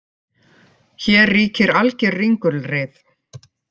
Hér ríkir alger ringulreið